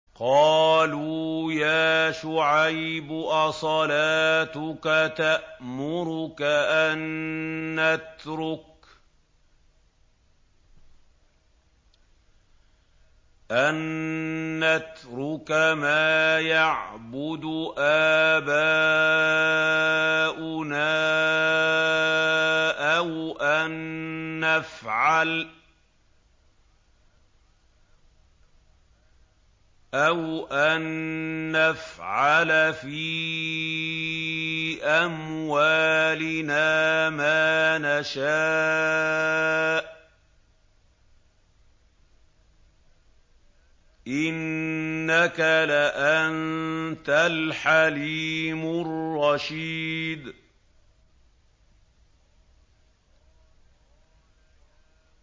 قَالُوا يَا شُعَيْبُ أَصَلَاتُكَ تَأْمُرُكَ أَن نَّتْرُكَ مَا يَعْبُدُ آبَاؤُنَا أَوْ أَن نَّفْعَلَ فِي أَمْوَالِنَا مَا نَشَاءُ ۖ إِنَّكَ لَأَنتَ الْحَلِيمُ الرَّشِيدُ